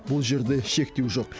бұл жерде шектеу жоқ